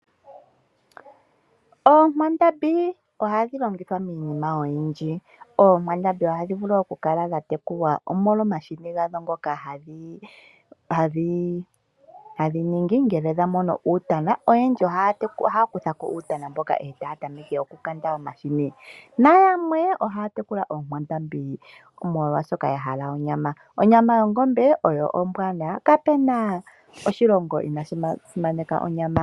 Oonkwandambi ohadhi longithwa miinima oyindji. Oonkwandambi ohadhi vulu okukala dhatekulwa omolwa omahini gadho ngoka hadhi ningi ngele dhamono uutana, oyendji ohaya kutha ko uutana mboka etaya tameke okukanda omahini. Nayamwe ohaya tekula oonkwandambi molwaashoka yahala onyama, onyama yongombe oyo ombwanawa kapena oshilongo inaashi simaneka onyama yongombe.